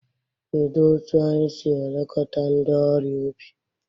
Kedu otu anyị si elekọta ndị ọrịa obi?